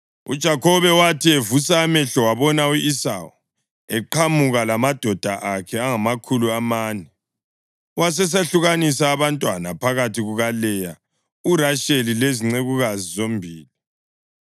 UJakhobe wathi evusa amehlo wabona u-Esawu, eqhamuka lamadoda akhe angamakhulu amane; wasesehlukanisa abantwana phakathi kukaLeya, uRasheli lezincekukazi zombili.